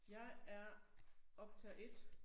Jeg er optager 1